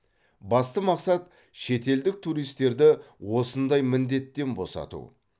басты мақсат шетелдік туристерді осындай міндеттен босату